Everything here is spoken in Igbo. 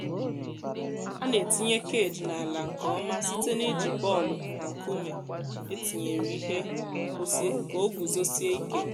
a na-etinye cage n’ala nke ọma site n’iji bọọlụ na nkume etinyere ihe nkwụsị ka o guzosie ike.